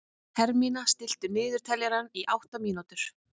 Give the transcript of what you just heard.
Hermína, stilltu niðurteljara á átta mínútur.